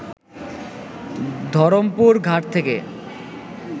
ধরমপুর ঘাট থেকে